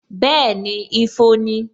Bẹẹni, ifo ni